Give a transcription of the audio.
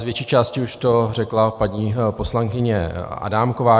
Z větší části už to řekla paní poslankyně Adámková.